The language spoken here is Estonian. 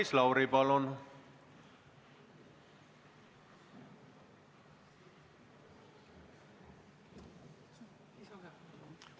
Maris Lauri, palun!